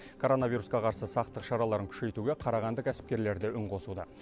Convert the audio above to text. короновирусқа қарсы сақтық шараларын күшейтуге қарағанды кәсіпкерлері де үн қосуда